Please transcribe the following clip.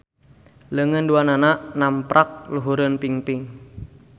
Leungeun duanana namprak luhureun pingping.